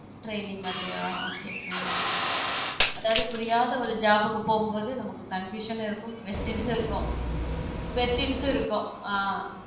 Training மாதிரியா okay உம் அதாவது புரியாத ஒரு job க்கு போகும்போதும் நமக்கு confusion இருக்கும் questions இருக்கும் questions இருக்கும் ஆஹ்